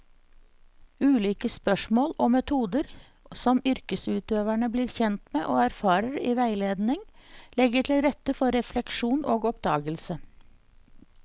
Ulike spørsmål og metoder som yrkesutøverne blir kjent med og erfarer i veiledning, legger til rette for refleksjon og oppdagelse.